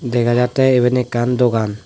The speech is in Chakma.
dega jatte iban ekkan dogan.